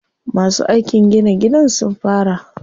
Masu aikin gina gidan sun fara.